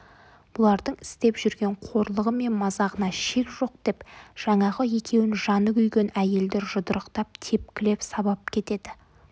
бұлардың істеп жүрген қорлығы мен мазағында шек жоқ деп жаңағы екеуін жаны күйген әйелдер жұдырықтап тепкілеп сабап кетеді